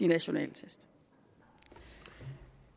national test